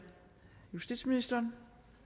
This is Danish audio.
justitsministeren